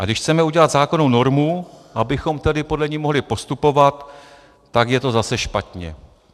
A když chceme udělat zákonnou normu, abychom tedy podle ní mohli postupovat, tak je to zase špatně.